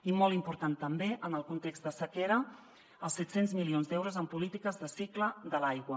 i molt important també en el context de sequera els set cents milions d’euros en polítiques de cicle de l’aigua